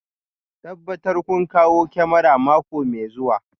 Tabbatar kun kawo kyamarar mako mai zuwa